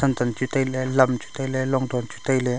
lamkam chu tailey lamchu tailey long thon chu tailey.